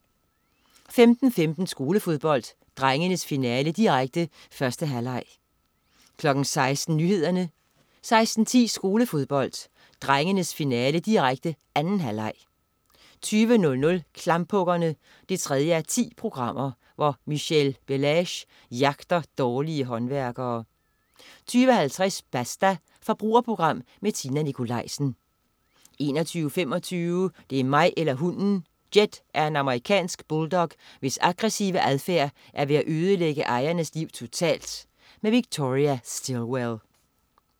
15.15 Skolefodbold: Drengenes finale, direkte. 1. halvleg 16.00 Nyhederne 16.10 Skolefodbold: Drengenes finale, direkte. 2. halvleg 20.00 Klamphuggerne 3:10. Michèle Bellaiche jagter dårlige håndværkere 20.50 Basta. Forbrugerprogram med Tina Nikolaisen 21.25 Det er mig eller hunden! Jed er en amerikansk bulldog, hvis aggressive adfærd er ved at ødelægge ejernes liv totalt. Victoria Stilwell